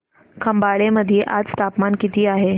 खंबाळे मध्ये आज तापमान किती आहे